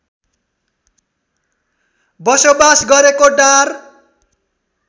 बसोबास गरेको डार